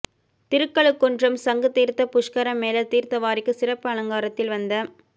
திருக்கழுகுன்றம் சங்கு தீர்த்த புஷ்கர மேளா தீர்த்தவாரிக்கு சிறப்பு அலங்காரத்தில் வந்த